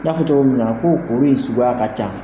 N'a fɔ tɔgɔ min minna na ko kuru in in suguya ka ca.